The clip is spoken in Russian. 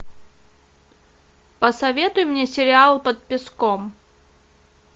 посоветуй мне сериал под песком